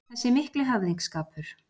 Þessi mikli höfðingsskapur